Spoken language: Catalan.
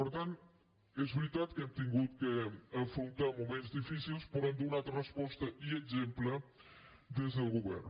per tant és veritat que hem hagut d’afrontar moments difícils però hem donat resposta i exemple des del govern